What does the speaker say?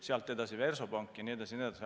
Sealt edasi tulid Versobank jne.